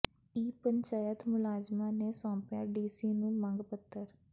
ਈ ਪੰਚਾਇਤ ਮੁਲਾਜ਼ਮਾਂ ਨੇ ਸੌਂਪਿਆ ਡੀ ਸੀ ਨੂੰ ਮੰਗ ਪੱਤਰ